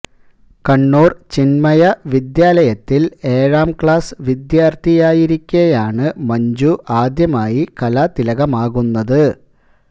കണ്ണൂര് ചിന്മയ വിദ്യാലയത്തില് ഏഴാം ക്ലാസ് വിദ്യാര്ഥിയായിരിക്കെയാണ് മഞ്ജു ആദ്യമായി കലാതിലകമാകുന്നത്